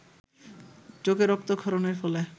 চোখে রক্তক্ষরণের ফলে